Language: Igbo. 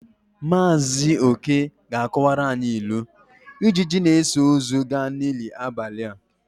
Maazị oke ga-akọwara anyị ilu " Ijiji na-eso ozu ga n'ili abalị a "